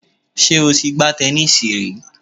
Sé o ti gbá tẹnísíì rí